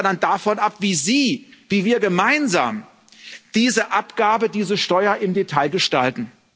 Das hängt aber dann davon ab, wie Sie, wie wir gemeinsam diese Abgaben, diese Steuern im Detail gestalten.